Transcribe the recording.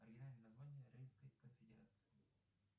оригинальное название рейнской конфедерации